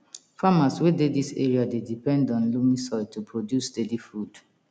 farmers wey dey dis area dey depend on loamy soil to produce steady food